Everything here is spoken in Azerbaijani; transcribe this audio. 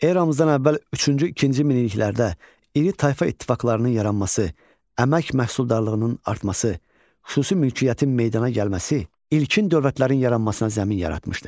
Eramızdan əvvəl üçüncü-ikinci minilliklərdə iri tayfa ittifaqlarının yaranması, əmək məhsuldarlığının artması, xüsusi mülkiyyətin meydana gəlməsi ilkin dövlətlərin yaranmasına zəmin yaratmışdı.